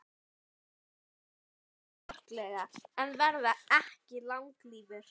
Þeir tala digurbarkalega en verða ekki langlífir.